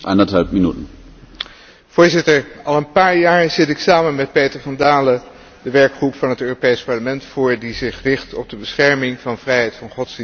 Voorzitter, al een paar jaar zit ik samen met Peter van Dalen de werkgroep van het Europees Parlement voor die zich richt op de bescherming van vrijheid van godsdienst en levensbeschouwing.